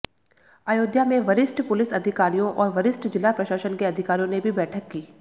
अयोध्या में वरिष्ठ पुलिस अधिकारियों और वरिष्ठ जिला प्रशासन के अधिकारियों ने भी बैठक की